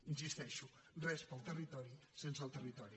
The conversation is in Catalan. hi insisteixo res per al territori sense el territori